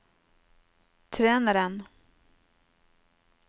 treneren